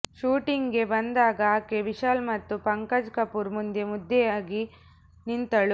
ಶೂಟಿಂಗ್ಗೆ ಬಂದಾಗ ಆಕೆ ವಿಶಾಲ್ ಮತ್ತು ಪಂಕಜ್ ಕಪೂರ್ ಮುಂದೆ ಮುದ್ದೆಯಾಗಿ ನಿಂತಳು